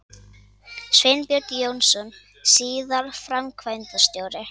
Sveinbjörn Jónsson, síðar framkvæmdastjóri